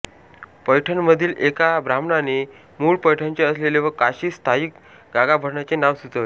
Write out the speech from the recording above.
पैठणमधील एका ब्राह्मणाने मूळ पैठणचे असलेले व काशीत स्थायिक गागाभट्टांचे नाव सुचवले